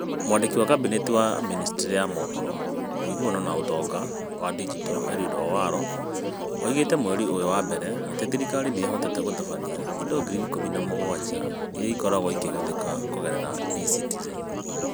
Mwandiki wa Kabinete wa Ministry ya mohoro, ũiguano na ũtonga wa digito, Eliud Owalo, oigĩte mweri ũyũ wa mbere atĩ thirikari nĩ ĩhotete gũtabania indo ngiri ikũmi na mũgwanja iria ikoragwo igĩhũthĩka kũgerera E-Citizen.